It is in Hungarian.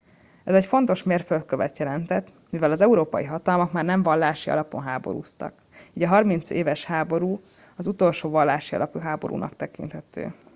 ez egy fontos mérföldkövet jelentett mivel az európai hatalmak már nem vallási alapon háborúztak így a harmincéves háború az utolsó vallási alapú háborúnak tekinthető